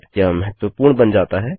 यह महत्वपूर्ण बन जाता है